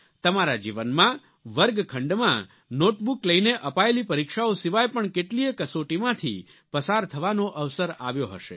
તમારા જીવનમાં વર્ગખંડમાં નોટબુક લઈને અપાયેલી પરીક્ષાઓ સિવાય પણ કેટલીયે કસોટીમાંથી પસાર થવાનો અવસર આવ્યો હશે